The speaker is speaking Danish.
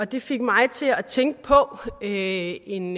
det fik mig til at tænke på en